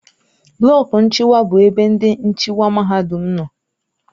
Blọku nchịkwa bụ ebe ndị nchịkwa mahadum nọ.